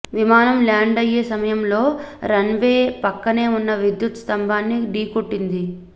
విమానం ల్యాండ్ అయ్యే సమయంలో రన్ వే పక్కనే ఉన్న విద్యుత్ స్థంభాన్ని డీకొట్టింది